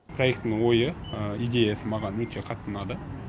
проектінің ойы идеясы маған өте қатты ұнады